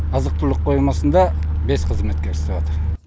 азық түлік қоймасында бес қызметкер істеватыр